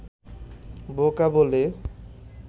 বোকা বলে